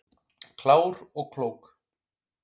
Klár og klók